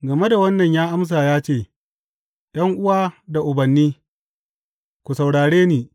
Game da wannan ya amsa ya ce, ’Yan’uwa da ubanni, ku saurare ni!